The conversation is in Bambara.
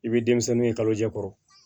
I bɛ denmisɛnninw ye kalojɛ kɔrɔ